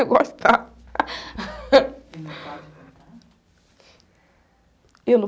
Eu gostava. não pode cantar?